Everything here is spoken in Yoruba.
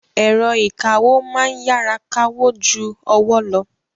Ẹ̀rọ ìkawó ma ń yára kawó ju ọwọ́ lọ